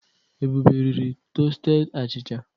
Ebube riri tọsteded achịcha.